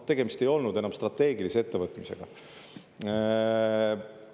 Tegemist ei olnud enam strateegilise ettevõtmisega.